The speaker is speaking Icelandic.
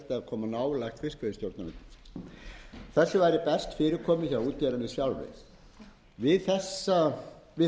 er þetta fyrirkomulag sem menn halda að þjóðin sætti sig við